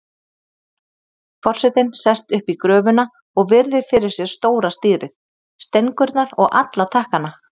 Forsetinn sest upp í gröfuna og virðir fyrir sér stóra stýrið, stengurnar og alla takkana.